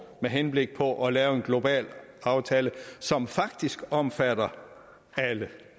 med henblik på at lave en global aftale som faktisk omfatter alle det